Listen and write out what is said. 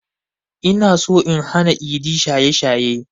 Inaso in hana idi shaye shaye